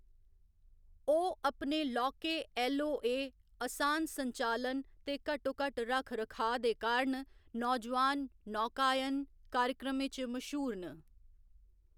ओह्‌‌ अपने लौह्‌‌‌के ऐल्ल.ओ.ए., असान संचालन ते घट्टोघट्ट रक्ख रखाऽ दे कारण नौजोआन नौकायन कार्यक्रमें च मश्हूर न।